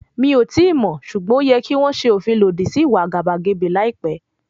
Mí ò tíì mọ̀, ṣùgbọ́n ó yẹ kí wọ́n ṣe òfin lòdì sí ìwà àgàbàgebè láìpẹ́.